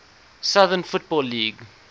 southern football league